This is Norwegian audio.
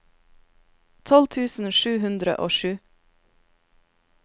tolv tusen sju hundre og sju